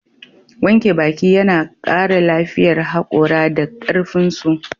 Wanke baki yana kara lafiyar hakora da karfinsu.